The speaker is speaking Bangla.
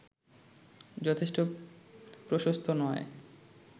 যথেষ্ট প্রশস্ত নয়